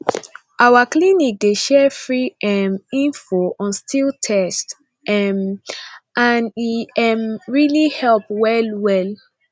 our clinic dey share free um info on sti test um and e um really dey help well well